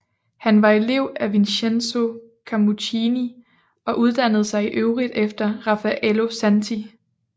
Han var elev af Vincenzo Camuccini og uddannede sig i øvrigt efter Raffaello Santi